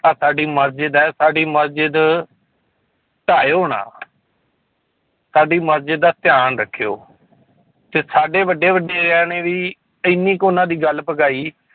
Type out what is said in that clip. ਆਹ ਸਾਡੀ ਮਸਜਿਦ ਹੈ ਸਾਡੀ ਮਸਜਿਦ ਢਾਇਓ ਨਾ ਸਾਡੀ ਮਸਜਿਦ ਦਾ ਧਿਆਨ ਰੱਖਿਓ ਤੇ ਸਾਡੇ ਵੱਡੇ ਵਡੇਰਿਆਂ ਨੇ ਵੀ ਇੰਨੀ ਕੁ ਉਹਨਾਂ ਦੀ ਗੱਲ ਪੁਗਾਈ